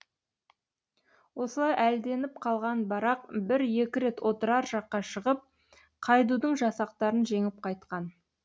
осылай әлденіп қалған барақ бір екі рет отырар жаққа шығып қайдудың жасақтарын жеңіп қайтқан